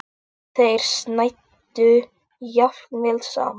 Þeir snæddu jafnvel saman.